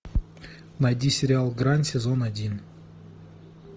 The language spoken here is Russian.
найди сериал грань сезон один